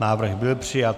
Návrh byl přijat.